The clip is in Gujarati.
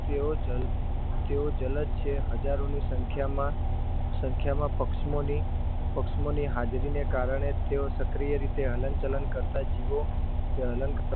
તેઓ જલ તેઓ જલદ છે હજારોની સંખ્યામાં સંખ્યામાં પક્ષમોની પક્ષમોની હાજરીને કારણે તેઓ સક્રિય રીતે હલનચલન કરતા જીવો ધ હલનચલન